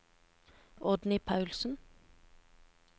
Oddny Paulsen